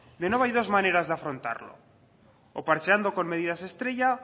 de nuevo hay dos maneras de afrontarlo o parcheando con medidas estrella